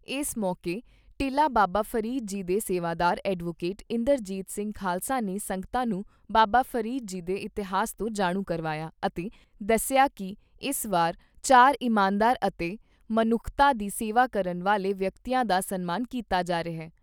ਇਸ ਮੌਕੇ ਟਿੱਲਾ ਬਾਬਾ ਫਰੀਦ ਜੀ ਦੇ ਸੇਵਾਦਾਰ ਐਡਵੋਕੇਟ ਇੰਦਰਜੀਤ ਸਿੰਘ ਖਾਲਸਾ ਨੇ ਸੰਗਤਾਂ ਨੂੰ ਬਾਬਾ ਫਰੀਦ ਜੀ ਦੇ ਇਤਿਹਾਸ ਤੋਂ ਜਾਣੂ ਕਰਵਾਇਆ ਅਤੇ ਦੱਸਿਆ ਕਿ ਇਸ ਵਾਰ ਚਾਰ ਇਮਾਨਦਾਰ ਅਤੇ ਮਨੁੱਖਤਾ ਦੀ ਸੇਵਾ ਕਰਨ ਵਾਲੇ ਵਿਅਕਤੀਆਂ ਦਾ ਸਨਮਾਨ ਕੀਤਾ ਜਾ ਰਿਹਾ।